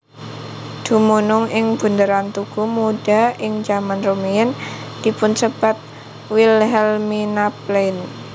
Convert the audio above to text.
Dumunung ing bunderan Tugu Muda ing jaman rumiyin dipunsebat Wilhelminaplein